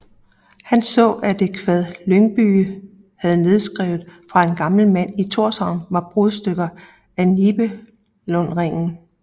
Han så at et kvad Lyngbye havde nedskrevet fra en gammel mand i Tórshavn var brudstykker af Nibelungringen